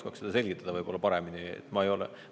Aga Rahandusministeerium oskaks seda paremini selgitada.